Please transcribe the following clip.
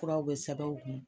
Furaw bɛ sɛbɛ aw kun.